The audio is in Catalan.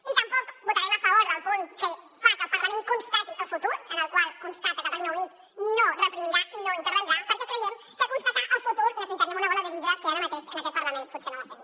i tampoc votarem a favor del punt que fa que el parlament constati el futur en el qual constata que el regne unit no reprimirà i no intervindrà perquè creiem que per constatar el futur necessitaríem una bola de vidre que ara mateix en aquest parlament potser no tenim